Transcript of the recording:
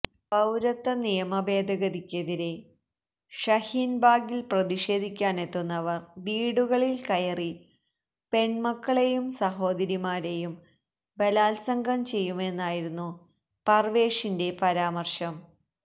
പൌരത്വനിയമഭേദഗതിക്കെതിരേ ഷഹീൻബാഗിൽ പ്രതിഷേധിക്കാനെത്തുന്നവർ വീടുകളിൽ കയറി പെൺമക്കളെയും സഹോദരിമാരെയും ബലാത്സംഗംചെയ്യുമെന്നായിരുന്നു പർവേഷിന്റെ പരാമർശം